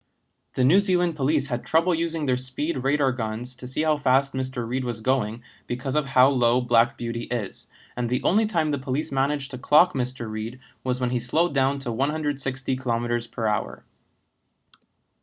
the new zealand police had trouble using their speed radar guns to see how fast mr reid was going because of how low black beauty is and the only time the police managed to clock mr reid was when he slowed down to 160km/h